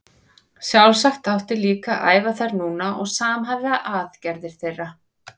Sjálfsagt átti líka að æfa þær núna og samhæfa aðgerðir þeirra.